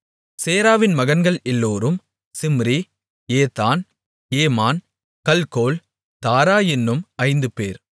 சேராவின் மகன்கள் எல்லோரும் Zimri Ethan Heman Calcol Dara என்னும் ஐந்துபேர்